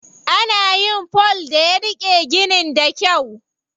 Ana yin fol da ya riƙe ginin da kyau.